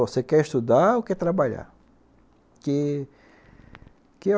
Você quer estudar ou quer trabalhar? Que que